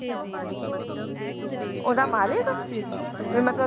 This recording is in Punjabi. ਉਹਦਾ ਮਾਲਿਕ ਵੀ ਮਤਲਬ